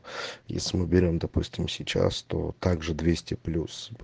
если мы берём допустим сейчас то также двести плюс